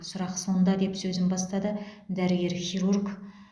сұрақ сонда деп сөзін бастады дәрігер хирург